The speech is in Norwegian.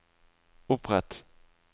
opprett